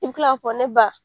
I bɛ kila k'a fɔ ne ba